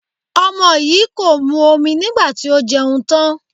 Ọmọ yìí kò mu omi nígbà tí ó jẹun tán.